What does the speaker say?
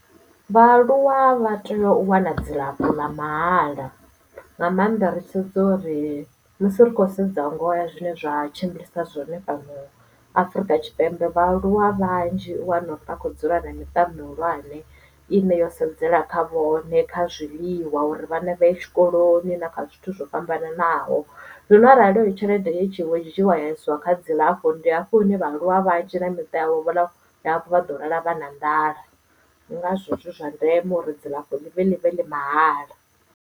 Vhaaluwa vha tea u wana dzilafho ḽa mahala, nga maanḓa ri tshi sedza uri musi ri khou sedza ngoho ya zwine zwa tshimbilisa zwone fhano Afurika Tshipembe vhaaluwa vhanzhi u wana uri vha kho dzula na miṱa mihulwane ine yo sedzela kha vhone kha zwiḽiwa uri vhana vhaye tshikoloni na kha zwithu zwo fhambananaho zwino arali heyo tshelede i tshi vho dzhiiwa ya isiwa kha dzilafho ndi hafho hune vhaaluwa vha ya tshila miṱa yavho hafhu vha ḓo lala vha na nḓala ndi ngazwo zwi zwa ndeme uri dzilafho ḽivhe ḽivhe ḽi mahala.